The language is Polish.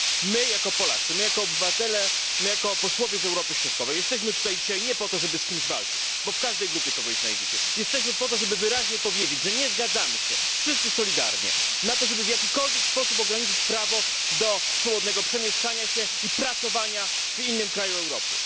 My jako Polacy, my jako obywatele, my jako posłowie z Europy Środkowej jesteśmy tu dzisiaj nie po to, żeby z kimś walczyć bo w każdej grupie kogoś znajdziecie lecz jesteśmy po to, żeby wyraźnie powiedzieć, że nie zgadzamy się, wszyscy solidarnie, na to, żeby w jakikolwiek sposób ograniczyć prawo do swobodnego przemieszczania się i podejmowania pracy w innym kraju Europy.